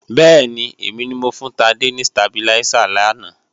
Bẹ́ẹ̀ni, èmi mo fún Tádé ni stabiláísà làná